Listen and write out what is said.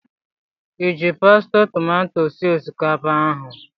Iji pasti tomato sie osikapa ahụ?